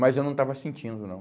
Mas eu não estava sentindo, não.